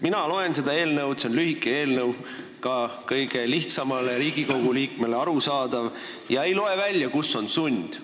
Mina loen seda eelnõu – see on lühike ja ka kõige lihtsamale Riigikogu liikmele arusaadav – ja ei loe välja, kus on sund.